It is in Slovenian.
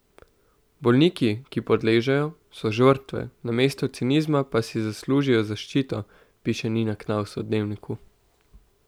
Bolniki, ki podležejo, so žrtve, namesto cinizma pa si zaslužijo zaščito, piše Nina Knavs v Dnevniku.